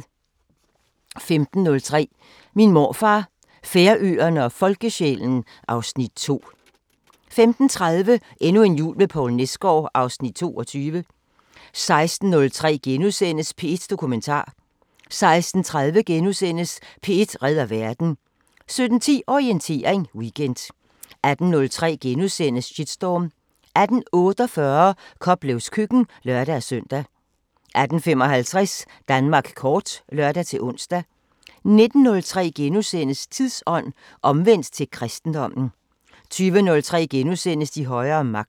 15:03: Min morfar, Færøerne og folkesjælen (Afs. 2) 15:30: Endnu en jul med Poul Nesgaard (Afs. 22) 16:03: P1 Dokumentar * 16:30: P1 redder verden * 17:10: Orientering Weekend 18:03: Shitstorm * 18:48: Koplevs køkken (lør-søn) 18:55: Danmark kort (lør-ons) 19:03: Tidsånd: Omvendt til kristendommen * 20:03: De højere magter *